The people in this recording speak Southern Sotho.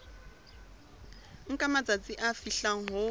nka matsatsi a fihlang ho